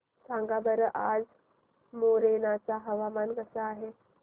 सांगा बरं आज मोरेना चे हवामान कसे आहे